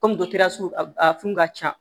Kɔmi dɔtɛriw a funu ka ca